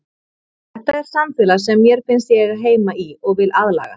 Þetta er samfélag sem mér finnst ég eiga heima í og vil aðlagast.